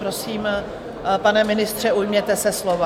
Prosím, pane ministře, ujměte se slova.